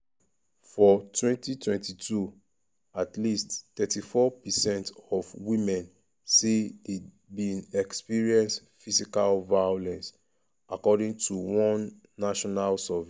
for 2022 at least 34 percent of women say dem bin experience physical violence according to one national survey.